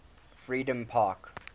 freedompark